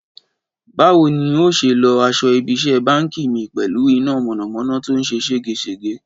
Báwo ni n óò ṣe lọ aṣọ ibi iṣẹ́ báǹkì mi pẹ̀lú iná mọ̀nàmọ́ná tó ń ṣe ségesège?